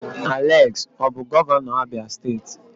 Alex ọ bụ gọvanọ Abia steeti?